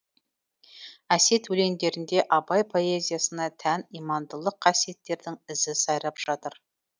әсет өлеңдерінде абай поэзиясына тән имандылық қасиеттердің ізі сайрап жатыр